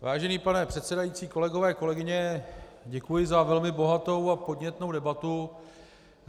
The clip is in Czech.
Vážený pane předsedající, kolegové, kolegyně, děkuji za velmi bohatou a podnětnou debatu.